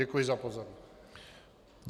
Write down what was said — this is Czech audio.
Děkuji za pozornost.